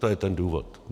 To je ten důvod.